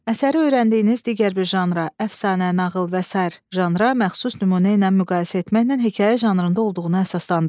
Əsəri öyrəndiyiniz digər bir janra, əfsanə, nağıl və sair janra məxsus nümunə ilə müqayisə etməklə hekayə janrında olduğunu əsaslandırın.